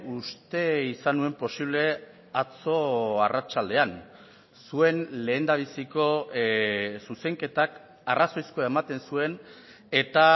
uste izan nuen posible atzo arratsaldean zuen lehendabiziko zuzenketak arrazoizkoa ematen zuen eta